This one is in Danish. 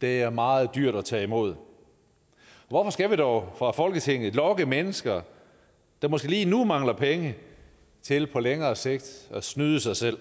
det er meget dyrt at tage imod hvorfor skal vi dog fra folketingets side lokke mennesker der måske lige nu mangler penge til på længere sigt at snyde sig selv